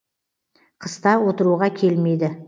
қыста отыруға келмейді